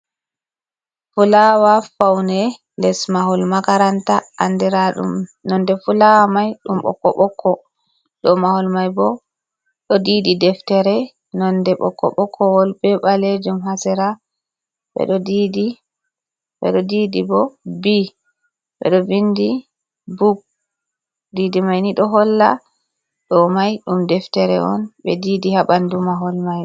fulawa faune les mahol makaranta andira ɗum nonde fulawa mai ɗum ɓokko ɓokko, dow mahol mai bo ɗo didi deftere nonde bo ko ɓokko ɓokko wol be balejum ha sera bedo didi bo b ɓeɗo vindi buk didi mai ni ɗo holla ɗo mai ɗum deftere on ɓe didi haɓandu mahol mai.